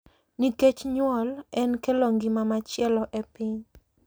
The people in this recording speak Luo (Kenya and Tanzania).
Nikech nyuol en kelo ngima machielo e piny,